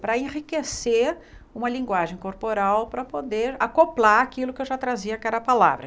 Para enriquecer uma linguagem corporal, para poder acoplar aquilo que eu já trazia, que era a palavra.